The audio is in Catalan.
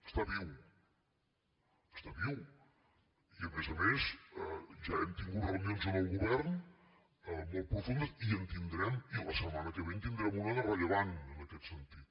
està viu està viu i a més a més ja hem tingut reunions en el govern molt profundes i en tindrem i la setmana que ve en tindrem una de rellevant en aquest sentit